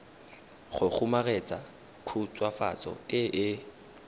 go kgomaretsa khutswafatso e e